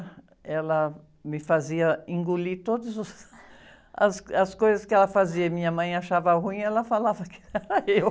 Ela me fazia engolir todas os, as, as coisas que ela fazia e minha mãe achava ruim e ela falava que era eu.